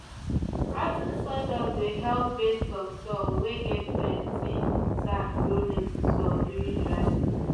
rot ten sawdust dey help beds of soil whey get plenty sand grow lettuce well during dry season